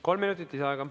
Kolm minutit lisaaega.